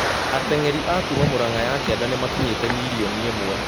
Atengeri a kuma Murang'a ya kianda nĩmakinyĩte mirioni ĩmwe